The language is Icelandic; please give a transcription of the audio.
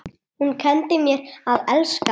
Hún kenndi mér að elska.